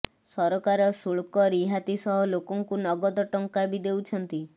ସରକାର ଶୁଳ୍କ ରିହାତି ସହ ଲୋକଙ୍କୁ ନଗଦ ଟଙ୍କା ବି ଦେଉଛନ୍ତି